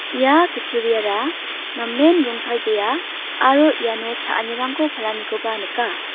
ia kutturiara namen rongtalbea aro iano cha·anirangko palanikoba nika.